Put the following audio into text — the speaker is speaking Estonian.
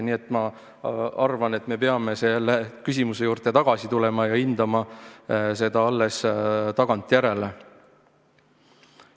Nii et ma arvan, et me peame selle küsimuse juurde tagasi tulema ja hindama seda alles tagantjärele.